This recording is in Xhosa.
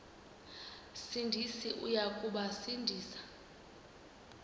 sindisi uya kubasindisa